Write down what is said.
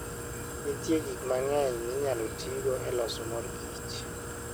Nitie gik mang'eny minyalo tigo e loso mor kich.